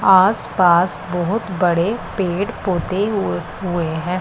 आसपास बहोत बड़े पेड़ पौधे हुव हुए हैं।